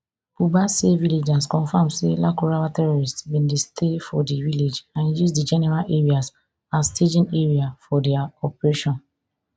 buba say villagers confam say lakurawa terrorists bin dey stay for di village and use di general areas as staging area for dia operation